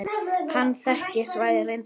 Hann þekkti svæðið reyndar vel.